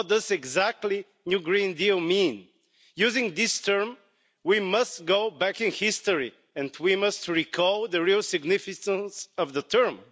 What exactly does new green deal' mean? Using this term we must go back in history and we must recall the real significance of the term.